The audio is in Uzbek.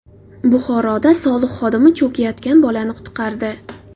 Buxoroda soliq xodimi cho‘kayotgan bolani qutqardi.